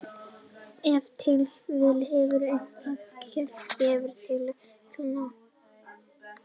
Ef til vill hefur eitthvað í klettunum gefið tilefni til nafngiftarinnar.